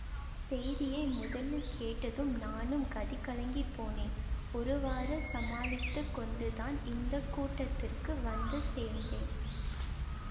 செய்தியை முதலில் கேட்டதும் நானும் கதிகலங்கிப் போனேன் ஒருவாறு சமாளித்து கொண்டுதான் இந்த கூட்டத்திற்கு வந்து சேர்ந்தேன்